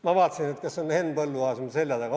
Ma vaatasin, kas Henn Põlluaas on mu selja taga.